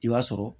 I b'a sɔrɔ